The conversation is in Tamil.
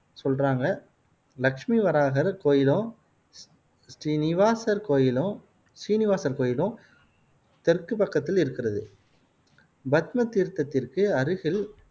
சொல்றாங்க. லக்ஷ்மி வராஹர் கோயிலும், ஸ்ரீனிவாசர் கோயிலும் ஸ்ரீனிவாசர் கோயிலும் தெற்குப் பக்கத்தில் இருக்கிறது பத்மதீர்த்ததிற்கு அருகில்